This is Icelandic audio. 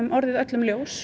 orðið öllum ljós